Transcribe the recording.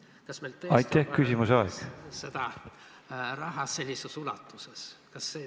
Kas meil tõesti on seda raha nii suures ulatuses?